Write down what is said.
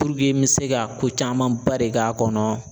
n bɛ se ka ko caman ba de k'a kɔnɔ